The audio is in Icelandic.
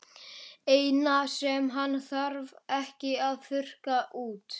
Eina sem hann þarf ekki að þurrka út.